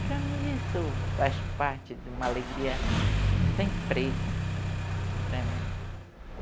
Para mim isso faz parte de uma alegria sem preço, para mim